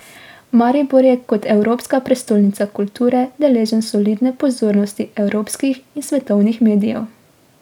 Maribor je kot evropska prestolnica kulture deležen solidne pozornosti evropskih in svetovnih medijev.